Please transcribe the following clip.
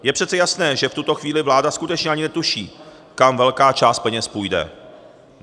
Je přece jasné, že v tuto chvíli vláda skutečně ani netuší, kam velká část peněz půjde.